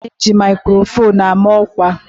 A na eji maikrofon ama ọkwa